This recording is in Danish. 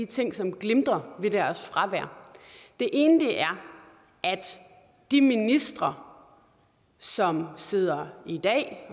ting som glimrer ved deres fravær det ene er at de ministre som sidder i dag